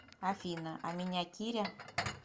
афина а меня киря